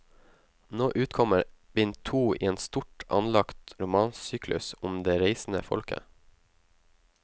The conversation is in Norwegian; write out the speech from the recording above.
Nå utkommer bind to i en stort anlagt romansyklus om det reisende folket.